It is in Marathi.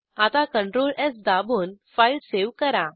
आता Ctrl स् दाबून फाईल सेव्ह करा